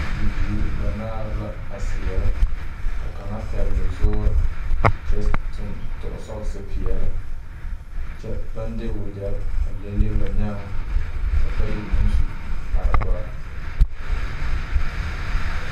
Bibiiri banaare la a seɛrɛ ka kaŋa pɛgli zuuri kyɛ tug sɔɔsi peɛli kyɛ baŋ de wagyɛri a leŋleŋ ba nyaaŋ ka bayi meŋ su kpare dɔri.